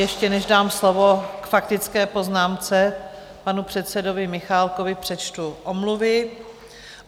Ještě než dám slovo k faktické poznámce panu předsedovi Michálkovi, přečtu omluvy.